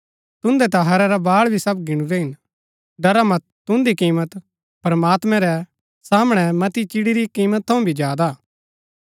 तुन्दै ता हैरा रै बाळ भी सब गीणुरै हिन डरा मत तुन्दी कीमत प्रमात्मैं रै सामणै मती चिड़ी री कीमत थऊँ भी ज्यादा हा